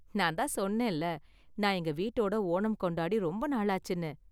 நான் தான் சொன்னேன்ல, நான் எங்க வீட்டோட ஓணம் கொண்டாடி ரொம்ப நாளாச்சுனு.